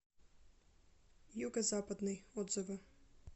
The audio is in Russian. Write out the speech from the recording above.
юго западный отзывы